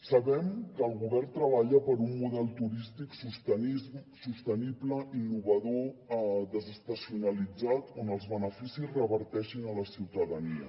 sabem que el govern treballa per un model turístic sostenible innovador desestacionalitzat on els beneficis reverteixin a la ciutadania